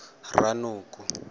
ranoko